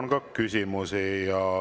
Teile on ka küsimusi.